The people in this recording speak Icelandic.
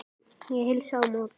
Ég heilsa á móti.